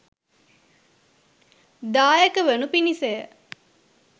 දායක වනු පිණිස ය.